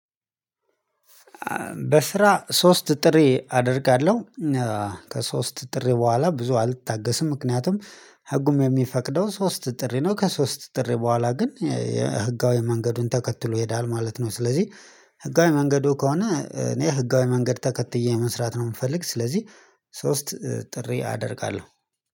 በስራ ሶስት ጥሪ አደርጋለሁ። ከሶስት ጥሪ በኋላ ብዙ አልታገስም ምክንያቱም ህጉም የሚፈቅደው ሶስት ጥሪ ነው ከሶስት ጥሪ በኋላ ግን ህጋዊ መንገድን ተከትሎ ይሄዳል ማለት ነው። ስለዚህ ህጋዊ መንገዱ ከሆነ እኔ ህጋዊ መንገድ ተከትዬ መስራት ነው የምፈልግ። ስለዚህ ሶስት ጥሪ አደርጋለሁ